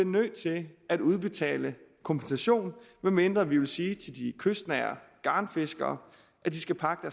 nødt til at udbetale kompensation medmindre vi vil sige til de kystnære garnfiskere at de skal pakke